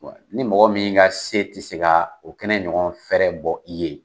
ni mɔgɔ min ka se ti se kaa o kɛnɛ ɲɔgɔn bɔ i ye